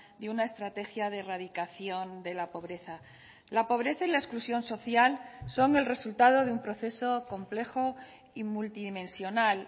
de una estrategia de erradicación de la pobreza la pobreza y la exclusión social son el resultado de un proceso complejo y multidimensional